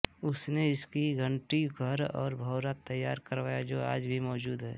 उसने इसका घंटी घर और भौरा तैयार करवाया जो आज भी मौजूद है